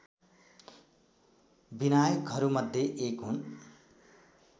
विनायकहरूमध्ये एक हुन्